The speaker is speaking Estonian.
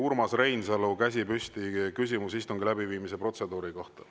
Urmas Reinsalu, käsi püsti, küsimus istungi läbiviimise protseduuri kohta.